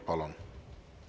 Palun!